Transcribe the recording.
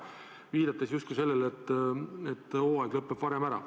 Viidati justkui sellele, et hooaeg lõpeb varem ära.